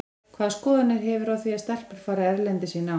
Hvaða skoðanir hefurðu á því að stelpur fari erlendis í nám?